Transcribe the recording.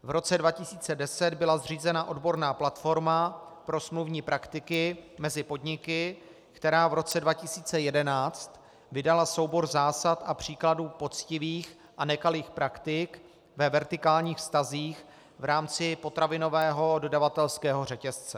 V roce 2010 byla zřízena odborná platforma pro smluvní praktiky mezi podniky, která v roce 2011 vydala soubor zásad a příkladů poctivých a nekalých praktik ve vertikálních vztazích v rámci potravinového dodavatelského řetězce.